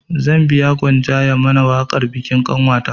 Zan biya gwanja ya mana waƙar bikin ƙanwata